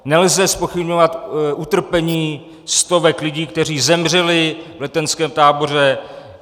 Nelze zpochybňovat utrpení stovek lidí, kteří zemřeli v letenském táboře.